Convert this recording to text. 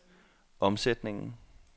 omsætningen